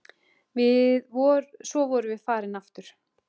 Svo vorum við farin aftur.